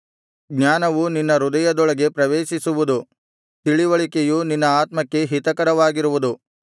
ಜ್ಞಾನವು ನಿನ್ನ ಹೃದಯದೊಳಗೆ ಪ್ರವೇಶಿಸುವುದು ತಿಳಿವಳಿಕೆಯು ನಿನ್ನ ಆತ್ಮಕ್ಕೆ ಹಿತಕರವಾಗಿರುವುದು